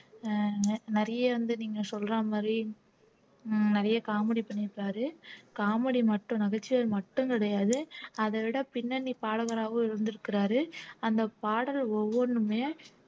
அஹ் நிறைய வந்து நீங்க சொல்ற மாதிரி உம் நிறைய comedy பண்ணி இருக்காரு comedy மட்டும் நகைச்சுவை மட்டும் கிடையாது அத விட பின்னணி பாடகராவும் இருந்திருக்கிறாரு அந்த பாடல் ஒவ்வொண்ணுமே